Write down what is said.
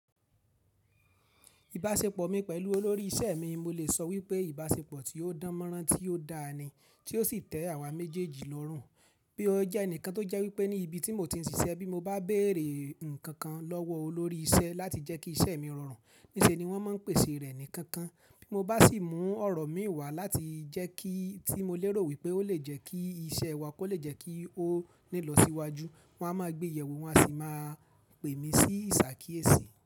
Ìbáṣepọ̀ mi pẹ̀lú olórí iṣẹ́ mi, mo lè sọ wípé ìbáṣepọ̀ tí ó dánmọ́nrán, tí ó da ni, tí ó sì tẹ́ àwa méjèèjì lọ́rùn. Bí ó jẹ́ ẹnìkan tó jẹ́ wípé ní ibi tí mo ti ń ṣiṣẹ́ bí mo bá béèrè nǹkan kan lọ́wọ́ olórí isẹ́ láti jẹ́ kí isẹ́ mi rọrùn, níṣe ni wọ́n máa ń pèsè rẹ̀ nìkan kan. Bí mo bá sì mú ọ̀rọ̀ mi wá láti jẹ́ kí tí mo lérò wípé ó lè jẹ́ kí isẹ́ wa kó lè jẹ́ kí ó ní lọ síwájú, wọ́n á máa gbé ìyẹ̀wù, wọ́n á sì máa pè mí sí ìsà kí èsì.